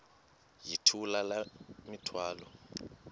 yithula le mithwalo